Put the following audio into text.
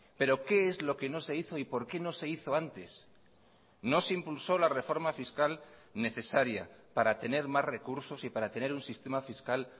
pero qué es lo que no se hizo y por qué no se hizo antes no se impulsó la reforma fiscal necesaria para tener más recursos y para tener un sistema fiscal